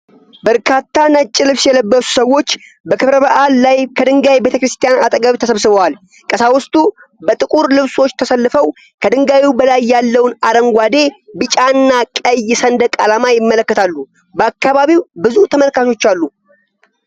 በርካታ ነጭ ልብስ የለበሱ ሰዎች በክብረ በዓል ላይ ከድንጋይ ቤተ ክርስቲያን አጠገብ ተሰብስበዋል። ቀሳውስቱ በጥቁር ልብሶች ተሰልፈው ከድንጋዩ በላይ ያለውን አረንጓዴ፣ ቢጫና ቀይ ሰንደቅ ዓላማ ይመለከታሉ። በአካባቢው ብዙ ተመልካቾች አሉ።